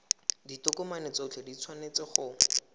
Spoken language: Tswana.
ditokomane tsotlhe di tshwanetse go